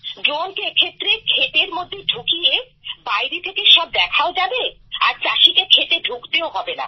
ড্রোনকে এক্ষেত্রে ক্ষেতের মধ্যে ঢুকিয়ে বাইরে থেকে সব দেখাও যাবে আর চাষীকে ক্ষেতে ঢুকতেও হবেনা